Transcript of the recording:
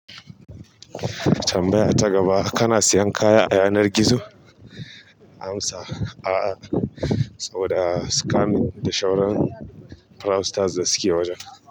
Tambaya ta gaba: Kana siyan kaya a yanar gizo? Amsa: A'a, saboda scamming da shauron fraudsters da suke wajen.